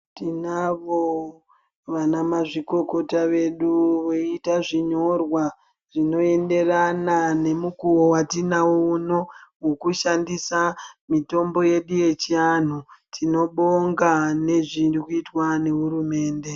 Tinavo vana mazvikokota vedu voita zvinyorwa zvinoenderana nemukuwo watinawo uno wokushandisa mitombo yedu yechianhu. Tinobonga nezviri kuitwa nehurumende.